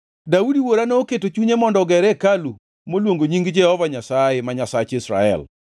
“Daudi wuora noketo e chunye mondo oger hekalu moluongo nying Jehova Nyasaye ma Nyasach Israel.